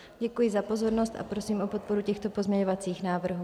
Děkuji za pozornost a prosím o podporu těchto pozměňovacích návrhů.